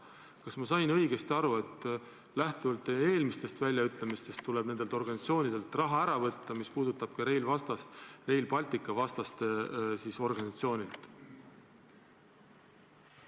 Kas ma sain lähtuvalt teie eelmistest väljaütlemistest õigesti aru, et tuleb nendelt organisatsioonidelt raha ära võtta ja see puudutab ka Rail Balticu vastaste organisatsiooni?